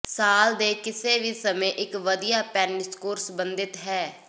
ਸਾਲ ਦੇ ਕਿਸੇ ਵੀ ਸਮੇਂ ਇੱਕ ਵਧੀਆ ਪੈਨਿਸਕੋਰ ਸੰਬੰਧਤ ਹੈ